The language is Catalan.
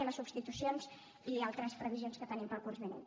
i a les substitucions i altres previsions que tenim per al curs vinent